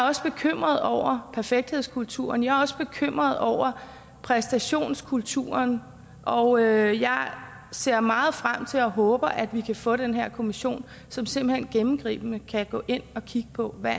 også bekymret over perfekthedskulturen jeg er også bekymret over præstationskulturen og jeg ser meget frem til og håber at vi kan få den her kommission som simpelt hen gennemgribende kan gå ind og kigge på hvad